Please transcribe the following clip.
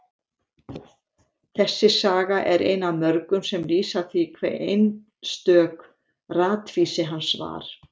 Þessi saga er ein af mörgum sem lýsa því hve einstök ratvísi hans var.